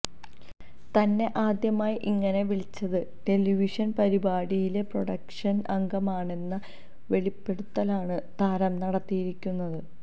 തന്നെ ആദ്യമായി ഇങ്ങനെ വിളിച്ചത് ടെലിവിഷന് പരിപാടിയിലെ പ്രൊഡക്ഷന് അംഗമാണെന്ന വെളിപ്പെടുത്തലാണ് താരം നടത്തിയിരിക്കുന്നത്